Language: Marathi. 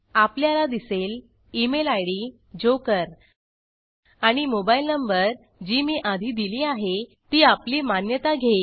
आपल्याला दिसेल इमेल id जोकर आणि मोबाइल नंबर जी मी आधी दिली आहे ती आपली मान्यता घेईल